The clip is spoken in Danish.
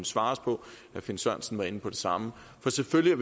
svares på herre finn sørensen var inde på det samme selvfølgelig